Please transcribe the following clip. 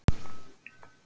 Makríl landað í Eyjum